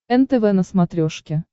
нтв на смотрешке